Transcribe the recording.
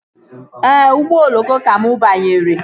Ee, ụgbọ oloko ka mụ banyere